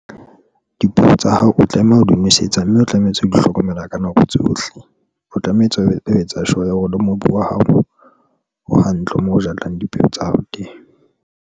Dipeo tsa hao o tlameha o di nosetsa, mme o tlametse o di hlokomela ka nako tsohle, o tlametse o etsa sure ya hore le mobu wa hao o hantle moo o jalang dipeo tsa hao teng.